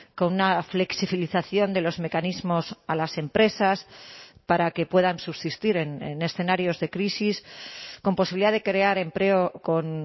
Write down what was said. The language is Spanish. con una flexibilización de los mecanismos a las empresas para que puedan subsistir en escenarios de crisis con posibilidad de crear empleo con